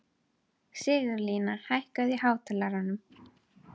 Sigurlína, hækkaðu í hátalaranum.